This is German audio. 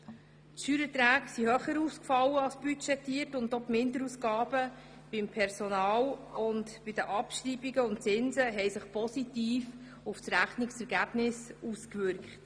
Die Steuererträge fielen höher aus als budgetiert, und auch die Minderausgaben beim Personal sowie bei den Abschreibungen und Zinsen wirkten sich positiv auf das Rechnungsergebnis aus.